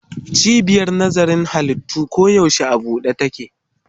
Cibiyar nazarin halittu koyaushe a buɗe take.